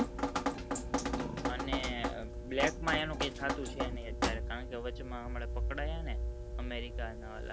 અને black માં એનું કઈ થાતું છે ની અત્યારે કારણ કે વચમાં હમણાં પકડ્યા ને america ના ઓલા